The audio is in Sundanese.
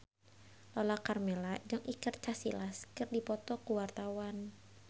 Lala Karmela jeung Iker Casillas keur dipoto ku wartawan